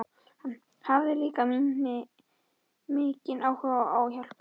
Hann hafði líka mikinn áhuga á að hjálpa mér.